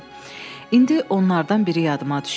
İndi onlardan biri yadıma düşdü.